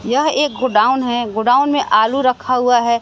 यह एक गोडाउन है। गोडाउन में आलू रखा है।